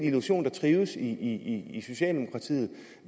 illusion der trives i i socialdemokratiet